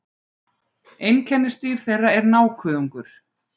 Einkennisdýr þeirra er nákuðungur.